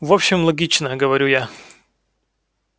в общем логично говорю я